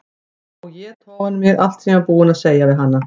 Og éta ofan í mig allt sem ég var búin að segja við hana.